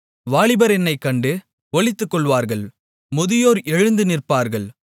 வாலிபர் என்னைக் கண்டு ஒளித்துக்கொள்வார்கள் முதியோர் எழுந்து நிற்பார்கள்